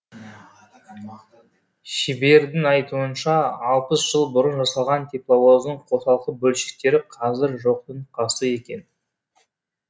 шебердің айтуынша алпыс жыл бұрын жасалған тепловоздың қосалқы бөлшектері қазір жоқтың қасы екен